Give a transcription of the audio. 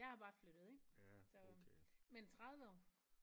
Jeg er bare flyttet ind så men 30 år